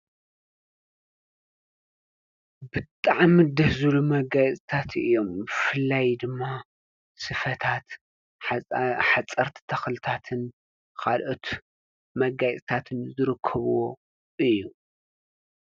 ብጣዕሚ ደስ ዝብሉ መጋየጽታት እዮም ብፍላይ ድማ ስፈታት ሓጸርቲ ተኽልታትን ኻልኦት መጋይጽታትን ዝርከብዎ እዩ።